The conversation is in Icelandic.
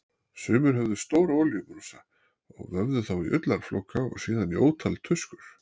Sumir höfðu stóra olíubrúsa og vöfðu þá í ullarflóka og síðan í ótal tuskur.